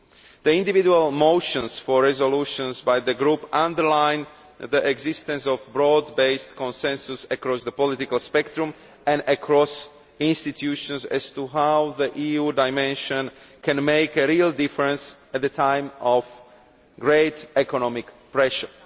The individual motions for resolutions put forward by the groups underline the existence of a broad based consensus across the political spectrum and across institutions as to how the EU dimension can make a real difference at a time of great economic pressure.